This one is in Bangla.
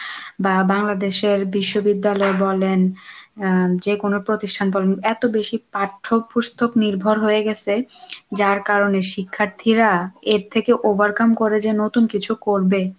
বা বাংলাদেশের বিশ্ববিদ্যালয় বলেন আহ যেকোনো প্রতিষ্ঠান বলুন এত বেশি পাঠ্য, পুস্তক নির্ভর হয়ে গেছে, যার কারণে শিক্ষার্থীরা এর থেকে overcome করে যে নতুন কিছু করবে,